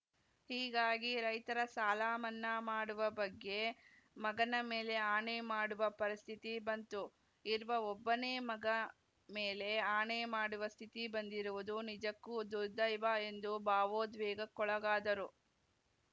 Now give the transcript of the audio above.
ಹೀಗಾಗಿ ರೈತರ ಸಾಲಮನ್ನಾ ಮಾಡುವ ಬಗ್ಗೆ ಮಗನ ಮೇಲೆ ಆಣೆ ಮಾಡುವ ಪರಿಸ್ಥಿತಿ ಬಂತು ಇರುವ ಒಬ್ಬನೇ ಮಗ ಮೇಲೆ ಆಣೆ ಮಾಡುವ ಸ್ಥಿತಿ ಬಂದಿರುವುದು ನಿಜಕ್ಕೂ ದುರ್ದೈವ ಎಂದು ಭಾವೋದ್ವೇಗಕ್ಕೊಳಗಾದರು